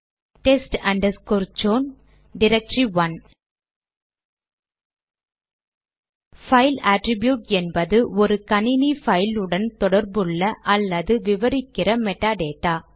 test underscore chown directory one file attribute என்பது ஒரு கணினி பைல் உடன் தொடர்புள்ள அல்லது விவரிக்கிற மெடா டேட்டா